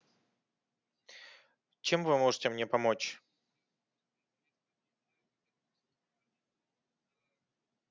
чем вы можете мне помочь